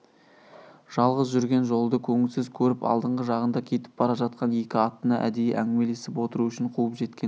жалғыз жүрген жолды көңілсіз көріп алдыңғы жағында кетіп бара жатқан екі аттыны әдейі әңгімелесіп отыру үшін қуып жеткен